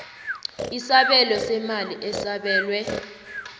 isabelo seemali esabelwe